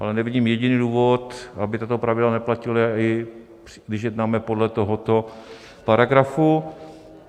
Ale nevidím jediný důvod, aby tato pravidla neplatila, i když jednáme podle tohoto paragrafu.